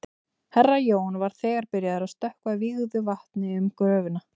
Herra Jón var þegar byrjaður að stökkva vígðu vatni um gröfina.